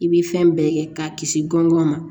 I bi fɛn bɛɛ kɛ k'a kisi gɔngɔn ma